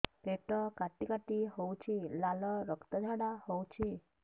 ପେଟ କାଟି କାଟି ହେଉଛି ଲାଳ ରକ୍ତ ଝାଡା ହେଉଛି